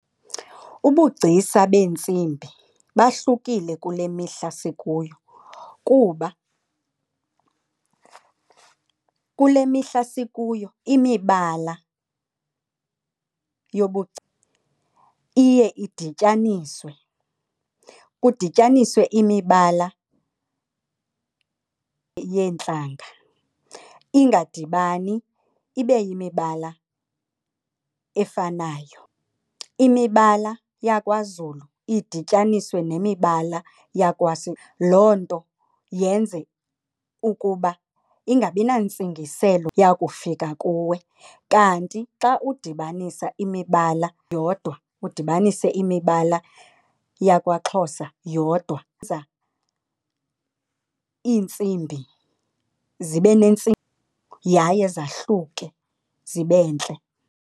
Ubugcisa beentsimbi bahlukile kule mihla sikuyo. Kuba kule mihla sikuyo imibala yobugcisa iye idityaniswe, kudityaniswe imibala yeentlanga ingadibani ibe yimibala efanayo. Imibala yakwaZulu idityaniswe nemibala . Loo nto yenze ukuba ingabi nantsingiselo yakufika kuwe kanti xa udibanisa imibala yodwa udibanise imibala yakwaXhosa yodwa iintsimbi zibe yaye zahluke zibe ntle.